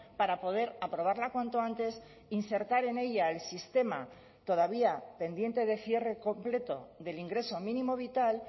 para poder aprobarla cuanto antes insertar en ella el sistema todavía pendiente de cierre completo del ingreso mínimo vital